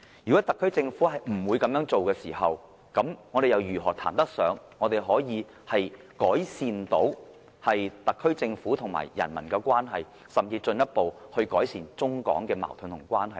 如果特區政府不會這樣做，我們又如何談得上改善特區政府與人民的關係，甚至進一步改善中港矛盾和關係呢？